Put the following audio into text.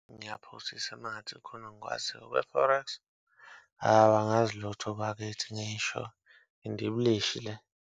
Ngiyaphosisa uma ngathi kukhona engikwaziyo okwe-Forex, awu angazi lutho bakithi ngisho indibilishi le.